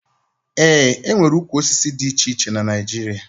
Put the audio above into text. E nwere ukwu osisi dị iche iche na Naịjirịa